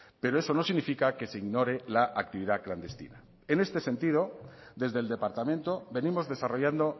pero eso no significa que se ignore la actividad clandestina en este sentido desde el departamento venimos desarrollando